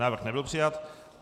Návrh nebyl přijat.